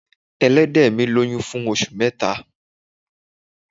Ẹlẹ́dẹ̀ mi lóyún fún oṣù mẹ́ta.